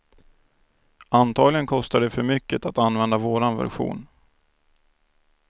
Antagligen kostar det för mycket att använda vår version.